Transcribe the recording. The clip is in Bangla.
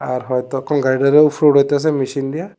আর হয়তো গাড়িটারে উপরে উঠায়তাছে মেশিন দিয়া।